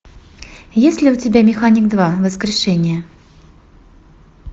есть ли у тебя механик два воскрешение